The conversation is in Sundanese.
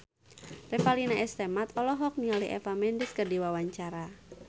Revalina S. Temat olohok ningali Eva Mendes keur diwawancara